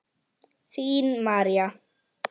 Þín María.